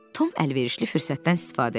Tom əlverişli fürsətdən istifadə elədi.